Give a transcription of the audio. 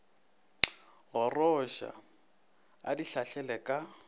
goroša a di hlahlela ka